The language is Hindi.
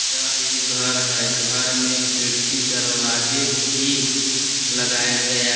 यह एक घर है घर में खिड़की दरवाजे भी लगाया गया --